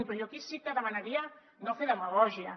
però jo aquí sí que demanaria no fer demagògia